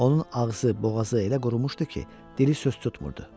Onun ağzı, boğazı elə qurumuşdu ki, dili söz tutmurdu.